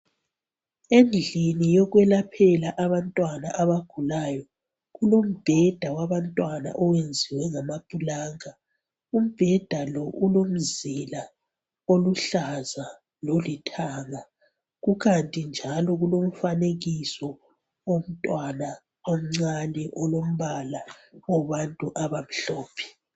Endlini yokwelaphela abantwana abagulayo kulombheda wabantwana oyenziwe ngama pulanka. Umbheda lo ulomzila oluhlaza lolithanga kukanti njalo kulomfanekiso womntwana omncane olombala wabantu abamhlophe.